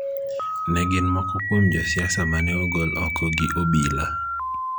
ne gin moko kuom josiasa ma ne ogol oko gi obila.